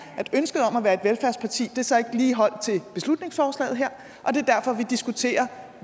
at ønsket om at være et velfærdsparti så ikke lige holdt til beslutningsforslaget her og det er derfor vi diskuterer